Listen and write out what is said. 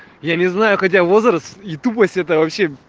я не знаю хотя возраст и тупость это вообще